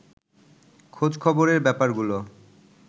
খোঁজ খবরের ব্যাপারগুলো